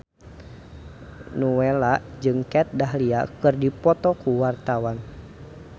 Nowela jeung Kat Dahlia keur dipoto ku wartawan